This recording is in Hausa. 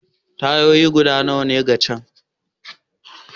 Tayoyi guda nawa ka canja?